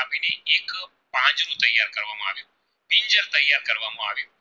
કરવામાં આવી